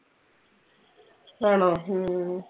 ആണോ ഹും